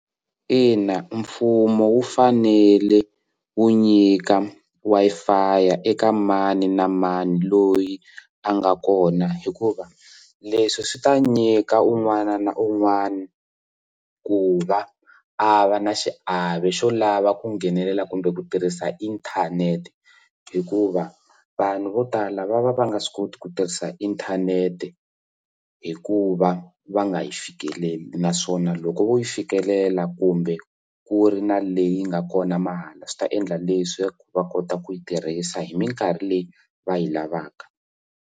Ina, mfumo wu fanele wu nyika Wi-Fi ya eka mani na mani loyi a nga kona hikuva leswi swi ta nyika un'wana na un'wana ku va a va na xiave xo lava ku nghenelela kumbe ku tirhisa inthanete hikuva vanhu vo tala va va va nga swi koti ku tirhisa inthanete hikuva va nga yi fikeleli naswona loko vo yi fikelela kumbe ku ri na leyi nga kona mahala swi ta endla leswi va kota ku yi tirhisa hi mikarhi leyi va yi lavaka.